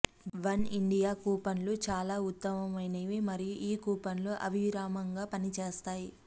one India కూపన్లు చాలా ఉత్తమమైనవి మరియు ఈ కూపన్లు అవిరామంగా పనిచేస్తాయి